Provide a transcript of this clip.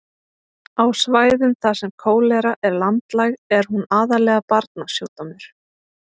á svæðum þar sem kólera er landlæg er hún aðallega barnasjúkdómur